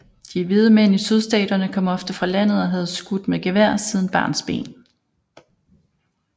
De hvide mænd i Sydstaterne kom ofte fra landet og havde skudt med gevær siden barnsben